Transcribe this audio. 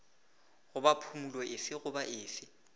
goba phumolo efe goba efe